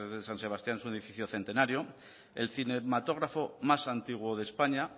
de san sebastián es un edificio centenario el cinematógrafo más antiguo de españa